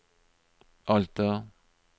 Alta